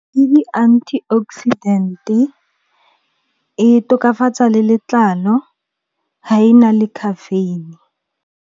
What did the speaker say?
Ke di-antioxidant-e, e tokafatsa le letlalo, ha e na le caffeine.